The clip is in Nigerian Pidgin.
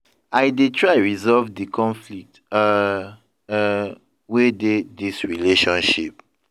I dey try resolve di conflict um um wey dey dis relationship.